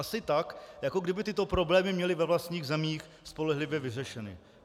Asi tak, jako kdyby tyto problémy měli ve vlastních zemích spolehlivě vyřešeny.